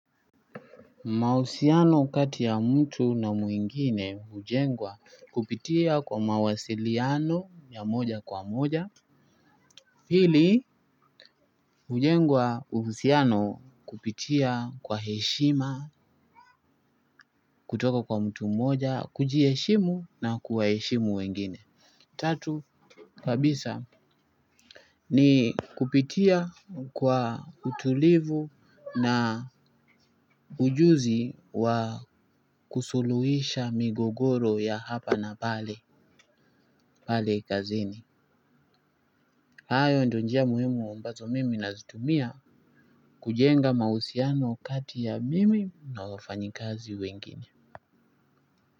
Mahusiano kati ya mtu na mwingine hujengwa kupitia kwa mawasiliano ya moja kwa moja. Hili hujengwa uhusiano kupitia kwa heshima kutoka kwa mtu mmoja kujiheshimu na kuwaheshimu wengine. Tatu kabisa ni kupitia kwa utulivu na ujuzi wa kusuluisha migogoro ya hapa na pale. Pale kazini hayo ndio njia muhimu ambazo mimi nazitumia kujenga mahusiano kati ya mimi na wafanyikazi wengine.